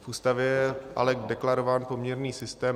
V Ústavě je ale deklarován poměrný systém.